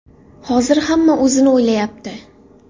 Hozir hamma o‘zini o‘ylayapti.